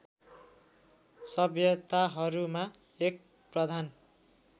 सभ्यताहरूमा एक प्रधान